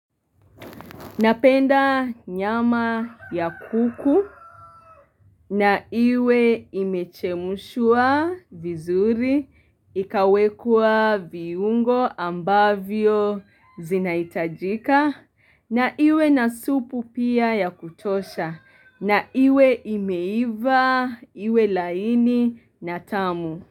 Napenda nyama ya kuku na iwe imechemshwa vizuri ikawekwa viungo ambavyo zinahitajika na iwe na supuu pia ya kutosha na iwe imeiva iwe laini na tamu.